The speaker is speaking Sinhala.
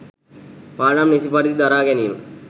පාඩම් නිසි පරිදි දරාගැනීම,